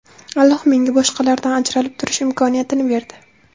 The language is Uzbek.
Alloh menga boshqalardan ajralib turish imkoniyatini berdi.